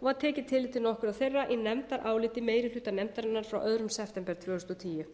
og var tekið nokkurt tillit til þeirra í nefndaráliti meiri hluta nefndarinnar frá öðrum september tvö þúsund og tíu